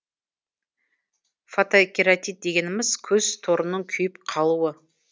фотокератит дегеніміз көз торының күйіп қалуы